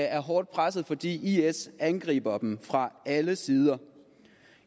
er hårdt presset fordi is angriber dem fra alle sider